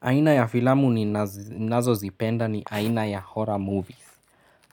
Aina ya filamu ninazozipenda ni aina ya horror movies.